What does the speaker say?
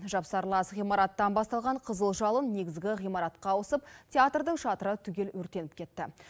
жапсарлас ғимараттан басталған қызыл жалын негізгі ғимаратқа ауысып театрдың шатыры түгел өртеніп кетті